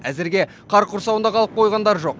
әзірге қар құрсауында қалып қойғандар жоқ